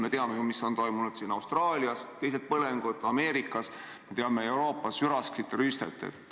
Me teame ju, mis on toimunud Austraalias, põlengud on ka Ameerikas, me teame Euroopas üraskite rüüstet.